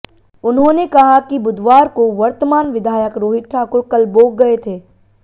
उन्होंने कहा कि बुधवार को वर्तमान विधायक रोहित ठाकुर कलबोग गए थे